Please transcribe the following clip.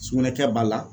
Sugunɛ kɛ b'a la